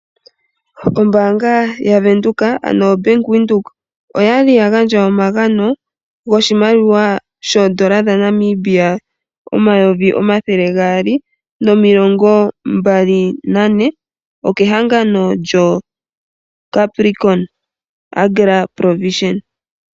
Ombanga yaVenduka ano obank windheok oyali ya gandja omagano goshimaliwa shoondola dhaNamibia omayovi omathele gaali nomilongo mbali nane okehangano lyoCapricon agra provision.